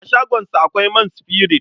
A shagonsa akwai man sifirit.